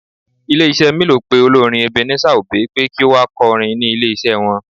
Ilé iṣẹ́ mílò pé olórin Ebenezer obey pé kí ó wá kọrin ní ilé iṣẹ́ wọn.